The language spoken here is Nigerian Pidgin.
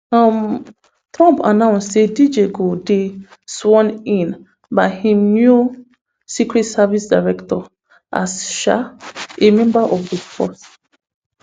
um trump announce say dj go dey sworn in by im new secret service director as um a member of di force